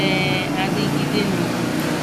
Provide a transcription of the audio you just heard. um adigide n'obodo